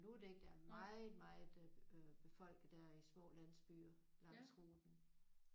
Absolut ikke! Der er meget meget øh befolket der i små landsbyer langs ruten